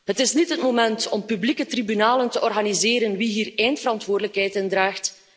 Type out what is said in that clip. Het is niet het moment om publieke tribunalen te organiseren over wie hier eindverantwoordelijkheid in draagt.